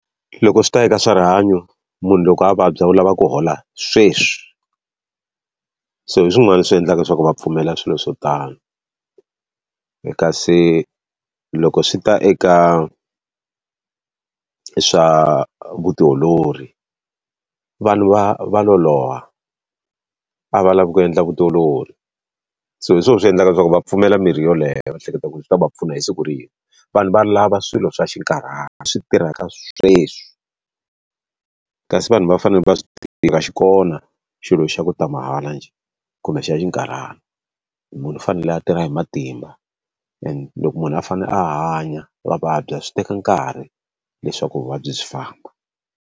Loko swi ta eka swarihanyo munhu loko a vabya u lava ku hola sweswi. So hi swin'wana leswi endlaka leswaku va pfumela swilo swo tano. Kasi loko swi ta eka swa vutiolori, vanhu va va loloha, a va lavi ku endla vutiolori. So hi swona swi endlaka leswaku va pfumela mirhi yoleyo va hleketa ku ri yi ta va pfuna hi siku rin'we. Vanhu va lava swilo swa xinkarhana, swi tirhaka sweswi. Kasi vanhu va fanele va swi tiva ku a xi kona xilo xa ku ta mahala njhe kumbe xa xi xinkarhana, munhu u fanele a tirha hi matimba and loko munhu a fanele a hanya a vabya swi teka nkarhi leswaku vuvabyi byi famba.